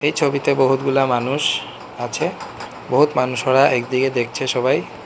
এই ছবিতে বহুতগুলা মানুষ আছে বহুৎ মানুষ ওরা একদিকে দেখছে সবাই।